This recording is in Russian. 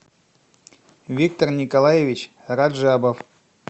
виктор николаевич раджабов